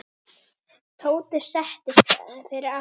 Tóti settist fyrir aftan.